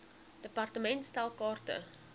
department stel kaarte